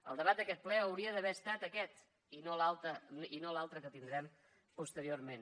el debat d’aquest ple hauria d’haver estat aquest i no l’altre que tindrem posteriorment